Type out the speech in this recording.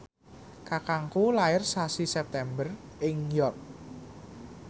kakangku lair sasi September ing York